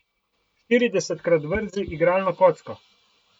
Štiridesetkrat vrzi igralno kocko.